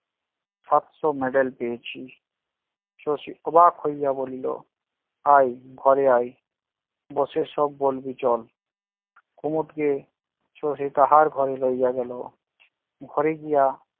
সাতশ medal পেয়েছি শশী অবাক হইয়া বলিল- আয় ঘরে আয়, বসে সব বলবি চল কুমদ কে শশী তাঁহার ঘরে লইয়া গেল. ঘরে গিয়া